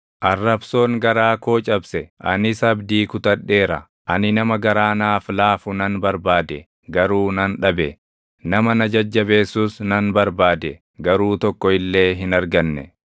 Arrabsoon garaa koo cabse; anis abdii kutadheera. Ani nama garaa naaf laafu nan barbaade; garuu nan dhabe; nama na jajjabeessus nan barbaade; // garuu tokko illee hin arganne.